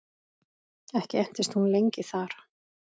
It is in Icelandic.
Ekki entist hún lengi þar.